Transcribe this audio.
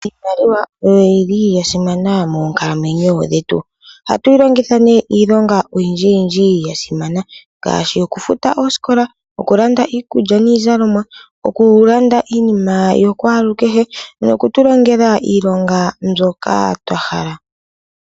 Iimaliwa oyo yili yasimana monkalamwenyo dhetu, ohatwilongitha ne iilonga oyindji yindji yasimana ngashi okufuta osikola, okulanda iikulya niizalomwa, okulanda iinima yakwalu kehe, nokutulongela iilonga mbyoka twahala.